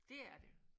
Dét er det